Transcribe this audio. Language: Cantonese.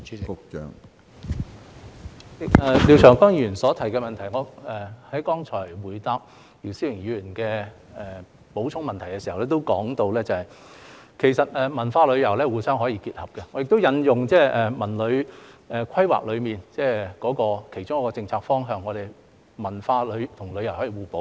主席，關於廖長江議員所提的補充質詢，我在剛才回答姚思榮議員的補充質詢時也提到，其實文化旅遊可以互相結合，我亦引用《文旅規劃》其中一個政策方向，即文化和旅遊可以互補。